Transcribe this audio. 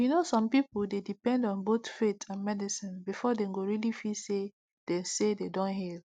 you know some people dey depend on both faith and medicine before dem go really feel say dem say dem don heal